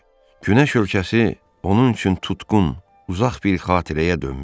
Günəş ölkəsi onun üçün tutqun, uzaq bir xatirəyə dönmüşdü.